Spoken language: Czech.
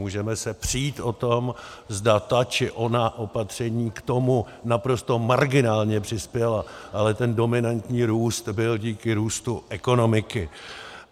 Můžeme se přít o tom, zda ta či ona opatření k tomu naprosto marginálně přispěla, ale ten dominantní růst byl díky růstu ekonomiky.